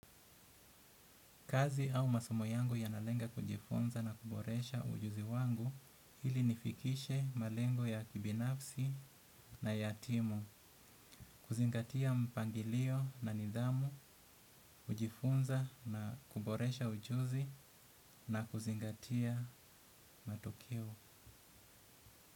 Kazi au masomo yangu yanalenga kujifunza na kuboresha ujuzi wangu ili nifikishe malengo ya kibinafsi na ya timu. Kuzingatia mpangilio na nidhamu, kujifunza na kuboresha ujuzi na kuzingatia matokeo.